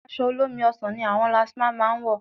Aṣọ olómi ọsàn ni àwọn lastma máa ń wọ̀